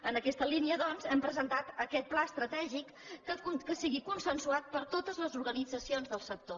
en aquesta línia doncs hem presentat aquest pla estratègic que sigui consensuat per totes les organitzacions del sector